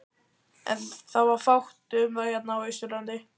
En það var fátt um það hérna á Austurlandi.